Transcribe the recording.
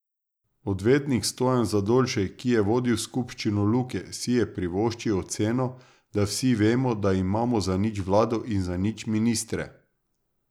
Odvetnik Stojan Zdolšek, ki je vodil skupščino Luke, si je privoščil oceno, da vsi vemo, da imamo zanič vlado in zanič ministre.